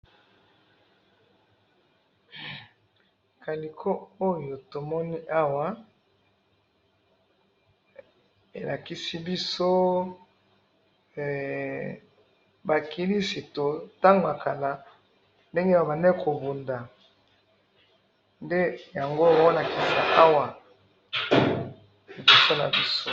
he kaliko oyo tomoni awa elakisi biso hee ba christu tango ya kala ndenge bazali ko bunda nde balakisi biso